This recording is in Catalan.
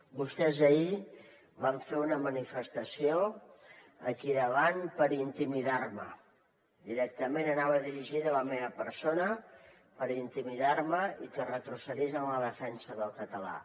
vostès ahir van fer una manifestació aquí davant per intimidar me directament anava dirigida a la meva persona per intimidar me i que retrocedís en la defensa del català